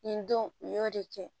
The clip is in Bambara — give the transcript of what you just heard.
Nin don u y'o de kɛ